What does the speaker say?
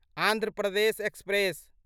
Andhra Pradesh express